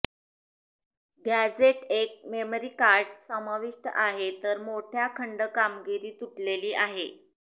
gadget एक memory card समाविष्ट आहे तर मोठ्या खंड कामगिरी तुटलेली आहे